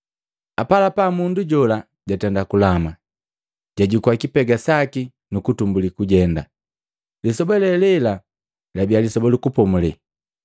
Apalapa mundu jola jatenda kulama, jajukua, kipega saki nukutumbuli kujenda. Lisoba le lela labiya Lisoba lu Kupomulela.